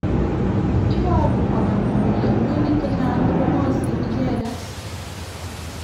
Iparu kora kole murenik chechang kongolsey icheket.